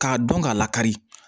K'a dɔn k'a lakari